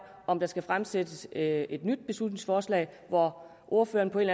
om der skal fremsættes et et nyt beslutningsforslag hvor ordføreren på en